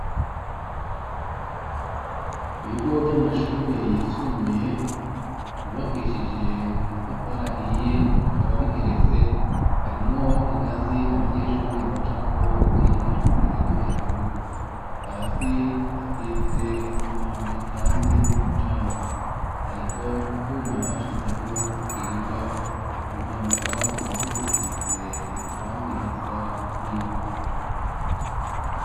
Ibigo vy'amashure yisumbuye ,yubakishije amatafara ahiye, ikaba bigeretse harimwwo ingazi abanyeshuri baca ko yo bagiye mu ishure, ryo hejuru hasi hasize isima icanze n'umucanga, hariho utwuma bashizeho tukinga impanuka na two tusize irangirisa n'ivu.